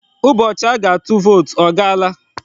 Ụbọchị a ga-atụ vootu ọ gaala?